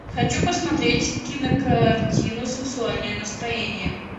хочу посмотреть кинокартину сексуальное настроение